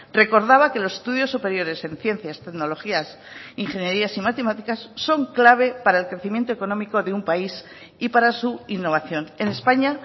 recordaba que los estudios superiores en ciencias tecnologías ingenierías y matemáticas son clave para el crecimiento económico de un país y para su innovación en españa